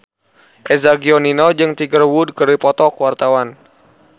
Eza Gionino jeung Tiger Wood keur dipoto ku wartawan